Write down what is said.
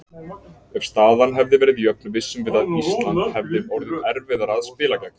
Ef staðan hefði verið jöfn vissum við að Ísland hefði orðið erfiðara að spila gegn.